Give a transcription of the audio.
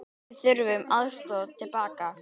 Við þurftum aðstoð til baka.